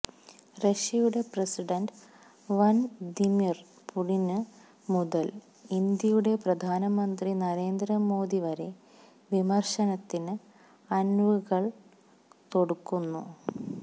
റഷ്യയുടെ president Vladimir Putin മുതല് ഇന്ത്യയുടെ പ്രധാനമന്ത്രി നരേന്ദ്ര മോദി വരെ വിമര്ശത്തിന്റെ അന്വുകള് തൊടുക്കുന്നു